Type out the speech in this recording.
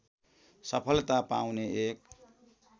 सफलता पाउने एक